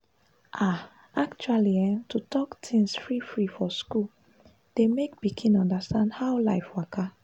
we gats educate about safe sex wahala to help pikin sabi how to protect demself well-well for school.